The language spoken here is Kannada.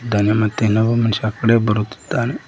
ಮತ್ತೆ ಇನ್ನೊಬ್ಬ ಮನುಷ್ಯ ಆ ಕಡೆ ಬರುತ್ತಿದ್ದಾನೆ.